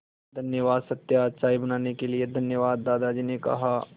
धन्यवाद सत्या चाय बनाने के लिए धन्यवाद दादाजी ने कहा